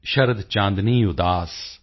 ਸ਼ਰਦ ਚਾਂਦਨੀ ਉਦਾਸ